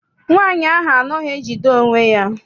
Nwaanyi ahụ anaghị ejide onwe ya.